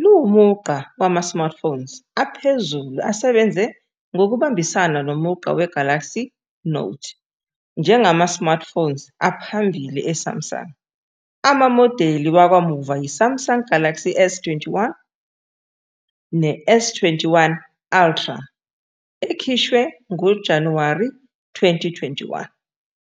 luwumugqa wama-smartphones aphezulu asebenze ngokubambisana nomugqa we-Galaxy Note njengama-smartphones aphambili e-Samsung. Amamodeli wakamuva yi- Samsung Galaxy S21, ne-S21 Ultra, ekhishwe ngoJanuwari 2021.